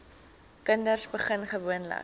kinders begin gewoonlik